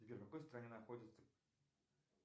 сбер в какой стране находится